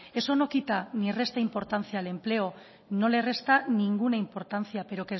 eso no quita y no resta importancia al empleo no le resta ninguna importancia pero